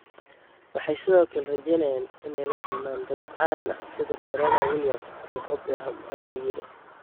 Waxay sidoo kale rajeynayaan inay la kulmaan dad caan ah sida Serena Williams iyo Oprah, ayuu yidhi.